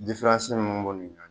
min b'u ni ɲɔgɔn cɛ